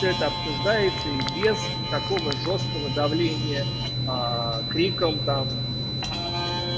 это обсуждается и без такого жёсткого давления криком там